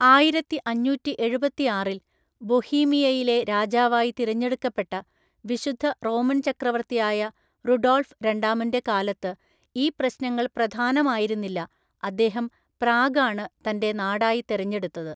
ആയിരത്തിഅഞ്ഞൂറ്റി എഴുപത്തിയാറില്‍ ബൊഹീമിയയിലെ രാജാവായി തിരഞ്ഞെടുക്കപ്പെട്ട വിശുദ്ധ റോമൻ ചക്രവർത്തിയായ റുഡോൾഫ് രണ്ടാമന്‍റെ കാലത്ത് ഈ പ്രശ്നങ്ങൾ പ്രധാനമായിരുന്നില്ല, അദ്ദേഹം പ്രാഗാണ് തന്‍റെ നാടായി തെരഞ്ഞെടുത്തത്.